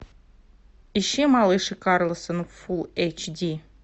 ищи малыш и карлсон фулл эйч ди